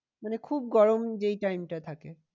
মানে খুব গরম যেই time টায় থাকে।